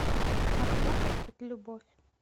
а вдруг это любовь